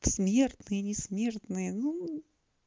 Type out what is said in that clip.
смертные не смежные ну